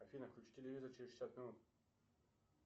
афина включи телевизор через шестьдесят минут